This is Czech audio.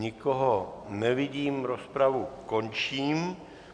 Nikoho nevidím, rozpravu končím.